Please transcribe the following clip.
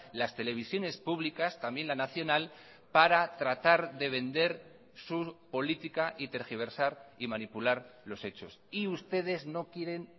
las televisiones públicas también la nacional para tratar de vender su política y tergiversar y manipular los hechos y ustedes no quieren